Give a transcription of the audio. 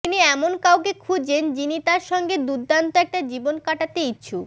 তিনি এমন কাউকে খুঁজছেন যিনি তার সঙ্গে দুর্দান্ত একটা জীবন কাটাতে ইচ্ছুক